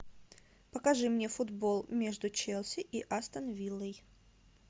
покажи мне футбол между челси и астон виллой